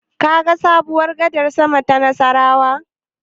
Kaga sabuwar gadar sama ta Nassarawa?